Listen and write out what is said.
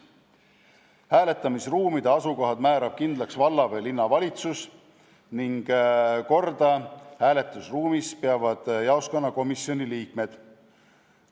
Hääletamisruumide asukohad määrab kindlaks valla- või linnavalitsus ning korda peavad seal jaoskonnakomisjoni liikmed.